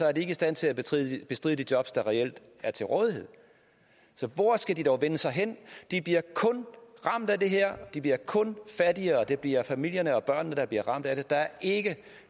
er de ikke i stand til at bestride de jobs der reelt er til rådighed så hvor skal de dog vende sig hen det bliver kun ramt af det her de bliver kun fattigere det bliver familierne og børnene der bliver ramt af det der er ikke